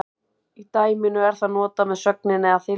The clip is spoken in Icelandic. Í dæminu er það notað með sögninni að þylja.